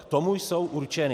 K tomu jsou určeny.